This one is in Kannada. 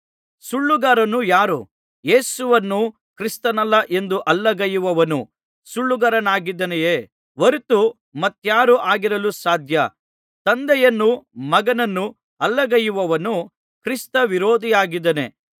ಸುಳ್ಳುಗಾರನು ಯಾರು ಯೇಸುವನ್ನು ಕ್ರಿಸ್ತನಲ್ಲ ಎಂದು ಅಲ್ಲಗಳೆಯುವವನು ಸುಳ್ಳುಗಾರನಾಗಿದ್ದಾಯೇ ಹೊರತು ಮತ್ತಾರು ಆಗಿರಲು ಸಾಧ್ಯ ತಂದೆಯನ್ನೂ ಮಗನನ್ನೂ ಅಲ್ಲಗಳೆಯುವವನು ಕ್ರಿಸ್ತವಿರೋಧಿಯಾಗಿದ್ದಾನೆ